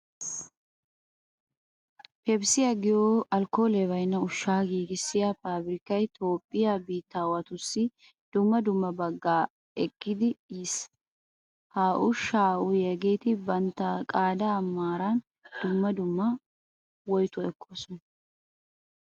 Pepssiya giyo alkkoolee baynna ushshaa giigissiya paabirkkay toophphiya biittaawatussi dumma dumma daagaa ekkidi yiis. Ha ushshaa uyiyageeti bantta qaadaa maaran dumma dumma woytuwa ekkoosona.